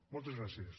moltes gràcies